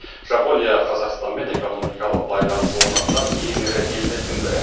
жапония қазақстанмен экономикалық байланыс орнатқан ең ірі елдердің бірі